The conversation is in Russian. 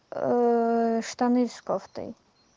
штаны с кофтой